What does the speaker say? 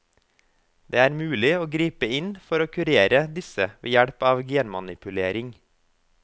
Det er mulig å gripe inn for å kurere disse ved hjelp av genmanipulering.